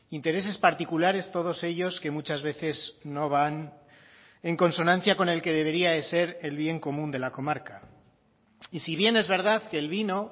intereses particulares todos ellos que muchas veces no van en consonancia con el que debería de ser el bien común de la comarca y si bien es verdad que el vino